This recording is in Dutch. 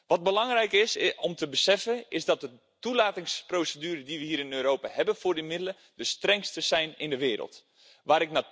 Wat belangrijk is om te beseffen is dat de toelatingsprocedure die we hier in Europa hebben voor de middelen de strengste ter wereld is.